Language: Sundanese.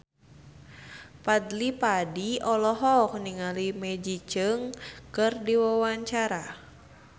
Fadly Padi olohok ningali Maggie Cheung keur diwawancara